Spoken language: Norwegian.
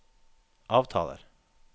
avtaler